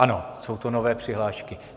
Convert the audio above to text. Ano, jsou to nové přihlášky.